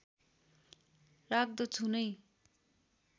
राख्दछु नै